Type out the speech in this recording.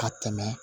Ka tɛmɛ